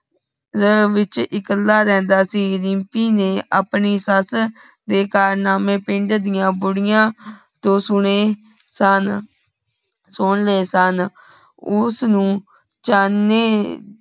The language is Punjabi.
ਲੇਹ ਵਿਚ ਇਕ ਕਲਾ ਰਹਿੰਦਾ ਸੀ ਰੀਮਪੀ ਨੇ ਅਪਨੀ ਸਸ ਦੇ ਕਾਰਨਾਮੇ ਪਿੰਢ ਦੀਆ ਬਹੁੜੀਆਂ ਜੋ ਸੁਨੇ ਧਨ ਸੁਨ ਲੇ ਤੰਨ ਉਸ ਨੂੰ ਚਾਨੇ